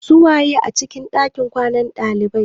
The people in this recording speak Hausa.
Su waye a cikin ɗakin kwanan ɗalibai?